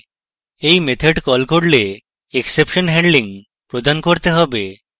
we method কল করলে exception handling প্রদান করতে have